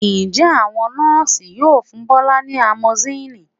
Ǹjẹ́ àwọn Nọ́ọ̀sì yóò fún Bọ́lá ní amoxicillin?